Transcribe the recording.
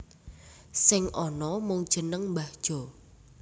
Sing ana mung jeneng Mbah Jo